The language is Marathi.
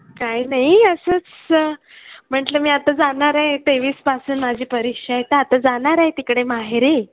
काही नाही असंच. म्हंटलं मी आता जाणार आहे. तेवीस पासून माझी परीक्षा आहे तर आता जाणार आहे तिकडे माहेरी.